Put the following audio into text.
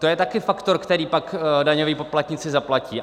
To je také faktor, který pak daňoví poplatníci zaplatí.